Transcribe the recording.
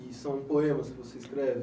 E são poemas que você escreve?